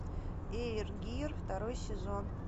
эйр гир второй сезон